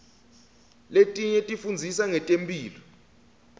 letinye tifundzisa ngetemphilo